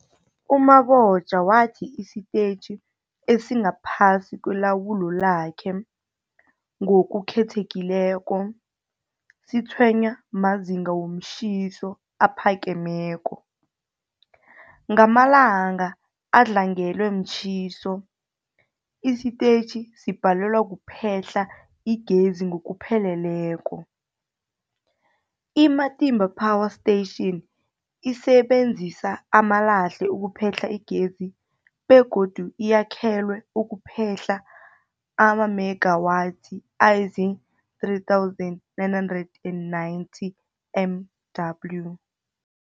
U-Mabotja wathi isitetjhi esingaphasi kwelawulo lakhe, ngokukhethekileko, sitshwenywa mazinga womtjhiso aphakemeko. Ngamalanga adlangelwe mtjhiso, isitetjhi sibhalelwa kuphehla igezi ngokupheleleko. I-Matimba Power Station isebenzisa amalahle ukuphehla igezi begodu yakhelwe ukuphehla amamegawathi azii-3990 MW.